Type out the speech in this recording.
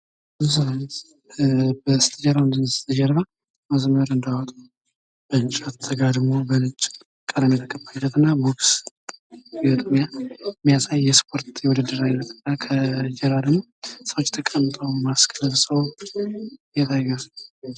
በስተጀርባ ገመድ አለ ዘለው እንዳይወጡ በነጭ ቀለም ተቀብቶ የተጋደመ እንጨት የቦክስ ግጥሚያ የሚያሳይ የስፖርት የውድድር አይነትና ከጀርባ ደግሞ ሰዎች ተቀምጠው ማስክ ለብሰው ይታያሉ።